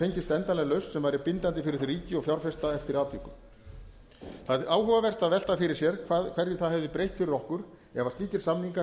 fengist endanleg lausn sem væri bindandi fyrir þau ríki og fjárfesta eftir atvikum það er áhugavert að velta fyrir sér hverju það hefði breytt fyrir okkur ef slíkir samningar